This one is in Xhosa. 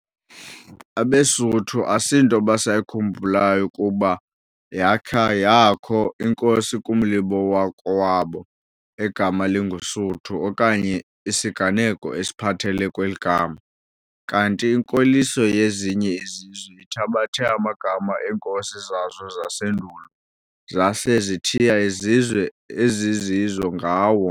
abesuthu asinto basayikhumbulayo ukuba yakha yakho inkosi kumlibo wakowabo egama linguSuthu okanye isiganeko esiphathelele kweli gama, kanti inkoliso yezinye izizwe ithabathe amagama eenkosi zazo zasendulo, zase zithiya izizwe ezizizo ngawo.